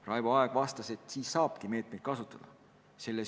Raivo Aeg vastas, et siis tulebki meetmeid kasutada.